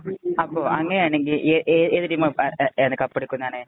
അങ്ങനെയാണെകില്‍ ഏത് ഏതു ടീമാകപ്പെടുക്കും എന്നാണ്.